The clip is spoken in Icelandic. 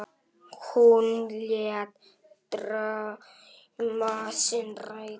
Hún lét drauma sína rætast.